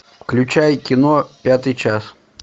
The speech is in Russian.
включай кино пятый час